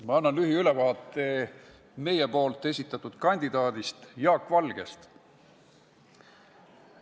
Ma annan lühiülevaate meie esitatud kandidaadist Jaak Valgest.